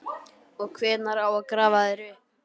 Og hvenær á að grafa þær upp?